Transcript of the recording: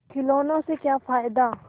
खिलौने से क्या फ़ायदा